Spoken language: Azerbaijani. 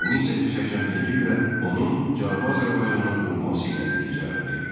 1881-ci ildə onun Cənubi Azərbaycana qovulması ilə nəticələndi.